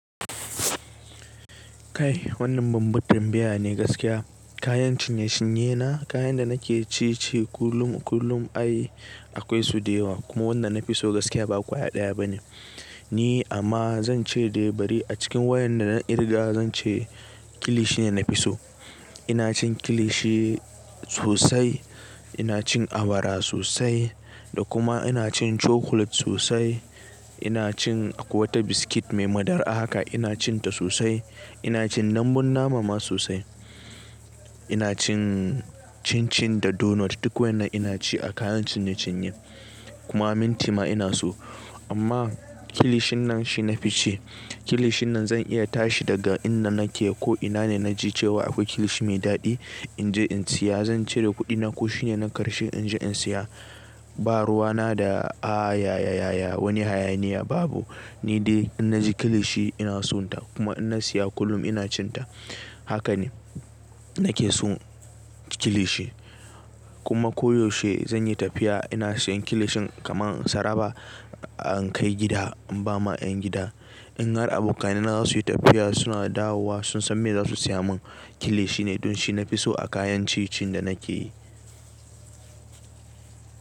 Kai wannan baban tambaya ne gaskiya. Kayan cinye-cinye na, kayan da nake ci ce kullum, kullum ai akwai su dayawa kuma wanda na fi so gaskiya ba ƙwaya ɗaya ba ne. Ni amma zan ce dai bari a cikin wayan da na kirga zan ce kilishi ne na fi so. Ina cin kilishi sosai, ina cin awara sosai da kuma ina cin chocolate sosai. Ina cin akwai wata biskit mai madarar haka ina cin ta sosai. Ina cin dambun nama ma sosai. Ina cin chin chin da donut duk wayan na ina ci a kayan cinye-cinye. Kuma minti ma ina so. Amma kilishin nan shi na fi ci. Kilishin nan zan iya tashi daga inda nake ko ina ne na ji cewa akwai kilishi mai daɗi in je in siya zan cire kuɗina ko shine na karshe in je in siya. Ba ruwa na da, a yaya wani hayaniya babu. Ni dai in na ji kilishi ina so ta kuma in na siya kullum ina cin ta. Haka ne nake so kilishi. Kuma koyaushe zan yi tafiya ina sayan kilishin kamar tsaraba an kai gida an ba ma ƴan gida. In har abokanai na za su yi tafiya suna dawowa sun san me za su siya mun kilishi ne don shi na fi so a kayan ci cin da nake yi.